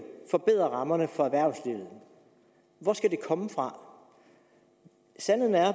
forbedre rammerne for erhvervslivet hvor skal det komme fra sandheden er